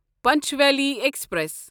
Panchvalley express